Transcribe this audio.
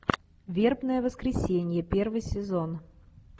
вербное воскресенье первый сезон